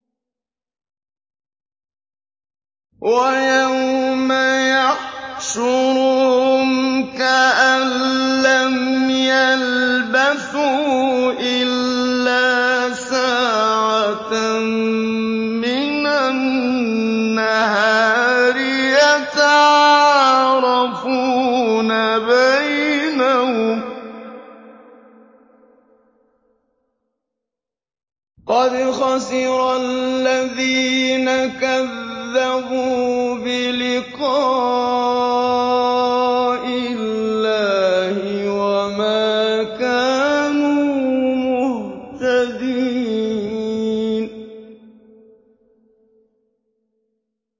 وَيَوْمَ يَحْشُرُهُمْ كَأَن لَّمْ يَلْبَثُوا إِلَّا سَاعَةً مِّنَ النَّهَارِ يَتَعَارَفُونَ بَيْنَهُمْ ۚ قَدْ خَسِرَ الَّذِينَ كَذَّبُوا بِلِقَاءِ اللَّهِ وَمَا كَانُوا مُهْتَدِينَ